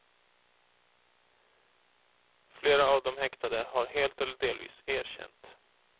Flera av de häktade har helt eller delvis erkänt.